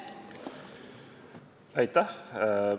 Aitäh!